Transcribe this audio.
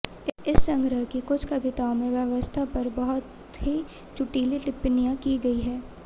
इस संग्रह की कुछ कविताओं में व्यवस्था पर बहुत ही चुटीली टिप्पणियां की गयी हैं